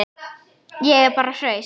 Ég er bara hraust.